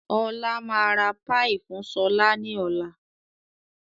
Ọlá máa ra "Pie" fun sọlá ni ọ̀la.